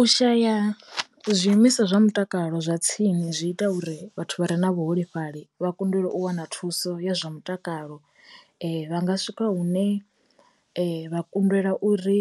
U shaya zwiimiswa zwa mutakalo zwa tsini zwi ita uri vhathu vha re na vhuholefhali vha kundelwa u wana thuso ya zwa mutakalo, vha nga swika hune vha kundelwa uri